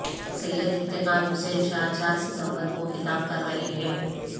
سید افتخار حسین شاہ چار ستمبر کو خطاب کر رہے ہیں